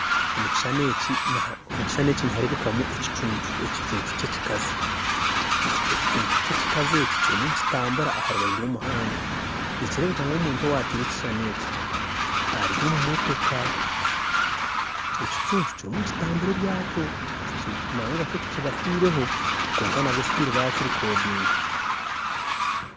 Omukishushani eki niharebukamu ekicuncu ekicuncu ky'ekikazi ekicuncu ky'ekikazi eki kirumu nikitambura aharubaju rw'omuhanda nikirebuka ngu omuntu owatire ekishushani eki ari omumotoka ekicuncu kirumu nikitambura ebyakyo nangwa Kyo tikibafireho kwonka nabwe bakirikodinga.